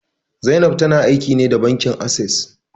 Zainab ta na aiki ne da bankin Ases